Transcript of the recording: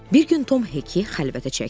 Bir gün Tom Hekini xəlvətə çəkdi.